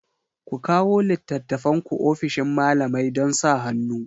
Ku kawo littattafanku ofishin malamai don sa hannu